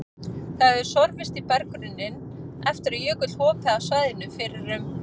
Það hefur sorfist í berggrunninn eftir að jökull hopaði af svæðinu fyrir um